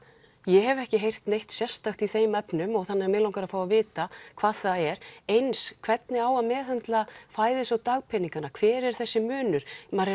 ég hef ekki heyrt neitt sérstakt í þeim efnum þannig mig langar að fá að vita hvað það er eins hvernig á að meðhöndla fæðis og dagpeningana hver er þessi munur maður